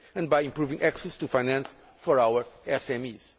and by improving access to finance for our